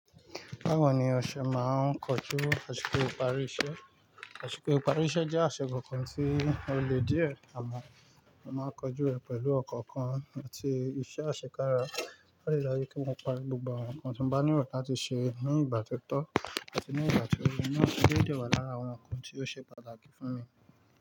Báwo ni o ṣe máa ń kojú àsìkò ìparí iṣẹ́? Àṣìkò ìparí iṣẹ́ jẹ́ aìsìkò kan tí ó le díẹ̀ àmọ́ mo máa ń kojú rẹ̀ pẹ̀lú ọkàn àti iṣẹ́ àṣekára. Ó dẹ lọ yẹ kí n parí gbogbo àwọn nǹkan tí n bá nílò láti ṣe ní ìgbà tí ó tọ́ àti ní ìgbà tí ó yẹ. Ní ó ṣe dé wà lára àwọn nǹkan tí ó ṣe pàtàkì fún mi.